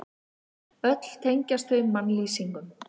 Öll tengjast þau mannlýsingum.